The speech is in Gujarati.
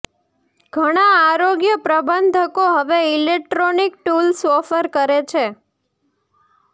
ઘણા આરોગ્ય પ્રબંધકો હવે ઇલેક્ટ્રોનિક ટૂલ્સ ઓફર કરે છે